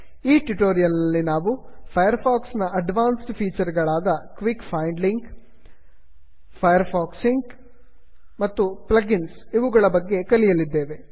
ಈ ಟ್ಯುಟೋರಿಯಲ್ ನಲ್ಲಿ ನಾವು ಫೈರ್ ಫಾಕ್ಸ್ ನ ಅಡ್ವಾನ್ಸ್ಡ್ ಫೀಚರ್ ಗಳಾದ quick find link quick find link Firefox sync Firefox sync ಮತ್ತು plug ಇನ್ಸ್ ಪ್ಲಗ್ ಇನ್ಸ್ ಗಳ ಬಗ್ಗೆ ಕಲಿಯಲಿದ್ದೇವೆ